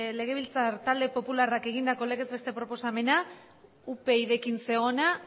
legebiltzar talde popularrak egindako legez besteko proposamena upydrekin zegoena